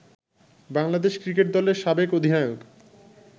Bangladesh cricket দলের সাবেক অধিনায়ক